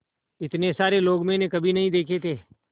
इतने सारे लोग मैंने कभी नहीं देखे थे